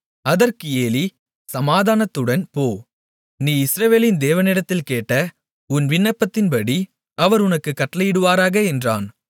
அதற்கு ஏலி சமாதானத்துடன் போ நீ இஸ்ரவேலின் தேவனிடத்தில் கேட்ட உன் விண்ணப்பத்தின்படி அவர் உனக்குக் கட்டளையிடுவாராக என்றான்